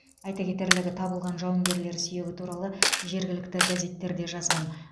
айта кетерлігі табылған жауынгерлер сүйегі туралы жергілікті газеттер де жазған